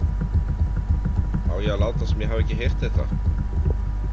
Á ég að láta sem ég hafi ekki heyrt þetta?